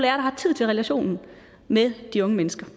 har tid til relationen med de unge mennesker